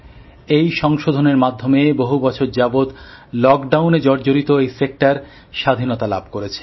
এই সংশোধনের মাধ্যমে বহু বছর যাবত লকডাউনএ জর্জরিত এই সেক্টর স্বাধীনতা লাভ করেছে